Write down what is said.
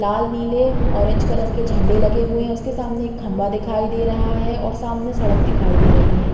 लाल नीले orange colour के झंडे लगे हुए हैं। उसके सामने एक खंम्बा दिखाई दे रहा है और सामने सड़क दिखाई दे रही है।